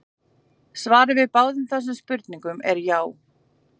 svarið við báðum þessum spurningum er já!